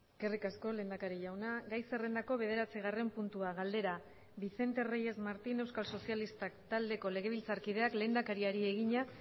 eskerrik asko lehendakari jauna gai zerrendako bederatzigarren puntua galdera vicente reyes martín euskal sozialistak taldeko legebiltzarkideak lehendakariari egina